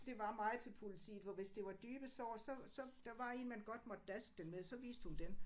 Det var meget til politiet for hvis det var dybe sår så så der var én man godt måtte daske dem med så viste hun den